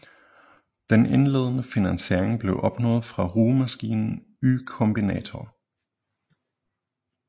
Den indledende finansiering blev opnået fra rugemaskinen Y Combinator